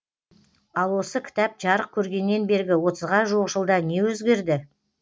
ал осы кітап жарық көргеннен бергі отызға жуық жылда не өзгерді